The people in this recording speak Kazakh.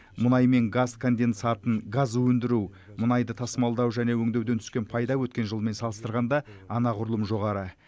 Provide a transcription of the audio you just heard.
мұнай мен газ конденсатын газ өндіру мұнайды тасымалдау және өңдеуден түскен пайда өткен жылмен салыстырғанда анағұрлым жоғары